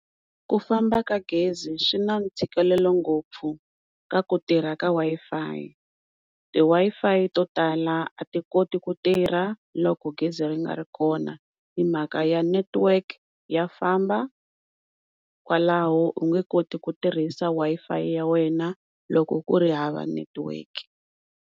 Ku famba ka gezi swi na ntshikelelo ngopfu ka ku tirha ka Wi-Fi, ti-Wi-Fi to tala a ti koti ku tirha loko gezi ri nga ri kona himhaka ya network ya famba kwalaho u nge koti ku tirhisa Wi-Fi ya wehe loko ku ri hava network.